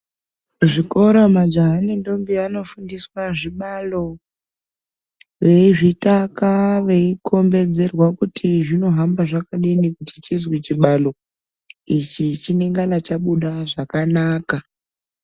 Zvikora majaha nendombi anofundiswa zvibalo veizvitaka, veikombedzerwa kuti zvinohamba zvakadini kuti chizwi chibalo, ichi chinengana chabuda zvakanaka.